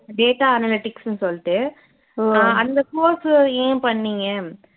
data analytics ன்னு சொல்லிட்டு அஹ் அந்த course ஏன் பண்ணிங்க